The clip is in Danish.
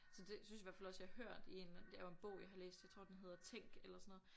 Så det synes jeg i hvert fald også jeg har hørt i en det er jo en bog jeg har læst jeg tror den hedder Tænk eller sådan noget